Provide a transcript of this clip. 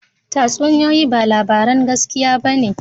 Tatsuniyoyi ba labaran gaskiya ba ne